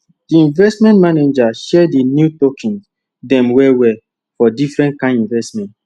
di investment manager share di new tokens dem well well for different kind investment